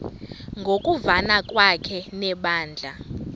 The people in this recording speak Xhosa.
ngokuvana kwakhe nebandla